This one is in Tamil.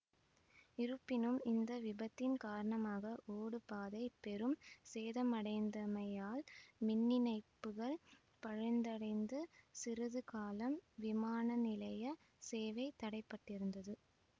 இருப்பினும் இந்த விபத்தின் காரணமாக ஓடுபாதை பெரும் சேதமடைந்தமையால் மின்னிணைப்புகள் பழுந்தடைந்து சிறிதுகாலம் விமானநிலையச் சேவை தடைபட்டிருந்தது